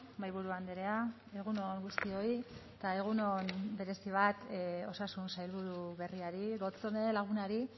mahaiburu andrea egun on guztioi eta egun on berezi bat osasun sailburu berriari gotzone lagunari